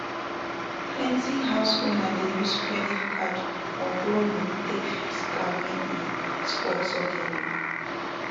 plenty house owner dey use credit card or borrow money take fix car when e spoil suddenly